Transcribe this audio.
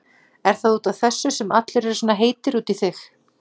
Er það út af þessu sem allir eru svona heitir út í þig?